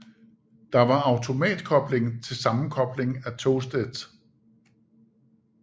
Der var automatkobling til sammenkobling af togsæt